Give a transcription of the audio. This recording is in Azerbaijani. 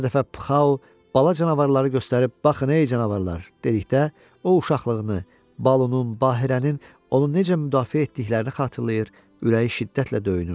Hər dəfə pxao bala canavarları göstərib baxın ey canavarlar dedikdə, o uşaqlığını, Balunun, Bahirənin onu necə müdafiə etdiklərini xatırlayır, ürəyi şiddətlə döyünürdü.